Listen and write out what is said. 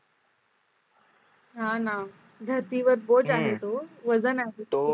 हा ना धरती वर बोज आहे तो वजन